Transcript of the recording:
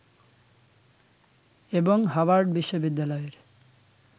এবং হাভার্ড বিশ্ববিদ্যালয়ের